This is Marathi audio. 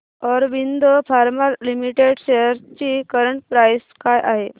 ऑरबिंदो फार्मा लिमिटेड शेअर्स ची करंट प्राइस काय आहे